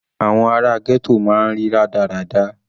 Àwọn ara ghetto máa ń rí rádaràda.